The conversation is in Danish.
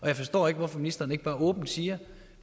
jeg forstår ikke hvorfor ministeren ikke bare åbent siger